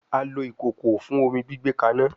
A lo ikoko fun omi gbigbe kana